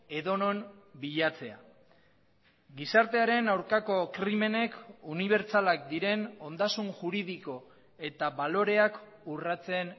edonon bilatzea gizartearen aurkako krimenek unibertsalak diren ondasun juridiko eta baloreak urratzen